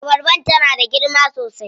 Abarbar tana da girma sosai.